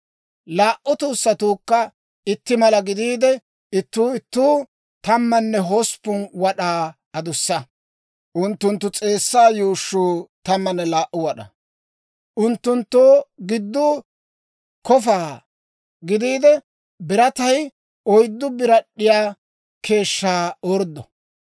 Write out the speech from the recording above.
Laa"u tuussatuukka itti mala gidiide, ittuu ittuu tammanne hosppun wad'aa adussa. Unttunttu s'eessaa yuushshuu tammanne laa"u wad'aa. Unttunttoo gidduu kofa gidiide, biratay oyddu birad'd'iyaa keeshshaa orddo.